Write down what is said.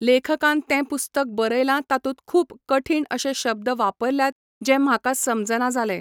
लेखकान तें पुस्तक बरयलां तातूंत खूब कठीण अशें शब्द वापरल्यात जे म्हाका समजना जालें.